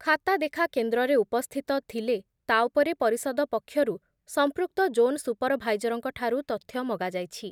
ଖାତାଦେଖା କେନ୍ଦ୍ରରେ ଉପସ୍ଥିତ ଥିଲେ ତା’ ଉପରେ ପରିଷଦ ପକ୍ଷରୁ ପକ୍ଷରୁ ସମ୍ପୃକ୍ତ ଜୋନ୍ ସୁପରଭାଇଜରଙ୍କଠାରୁ ତଥ୍ୟ ମଗାଯାଇଛି